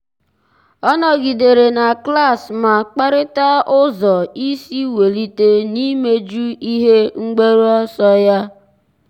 ọ́ nọ́gídèrè na klas ma kparịta ụ́zọ́ ísí wèlíté n’íméjú ihe mgbaru ọsọ ya.